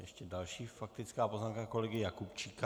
Ještě další faktická poznámka kolegy Jakubčíka.